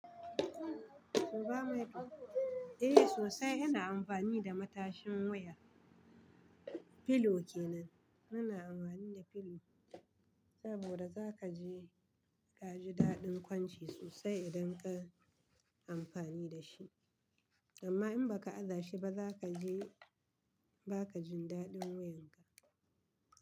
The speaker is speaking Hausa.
Eh sosai ina amfani da matashin wuya. Filo kenan muna amfani da filo saboda zaka ji ka ji daɗin kwanci sosai idan ka yi amfani da shi, amma in baka aza shi ba zaka ji ba ka jin daɗin wuyan ka.